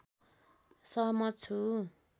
सहमत छु